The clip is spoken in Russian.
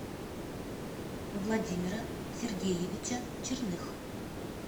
владимира сергеевича черных